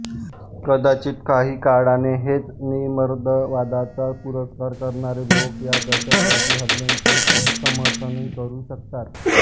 कदाचित काही काळाने हेच निधर्मवादाचा पुरस्कार करणारे लोक या दहशतवादी हल्ल्यांचे समर्थनही करू शकतात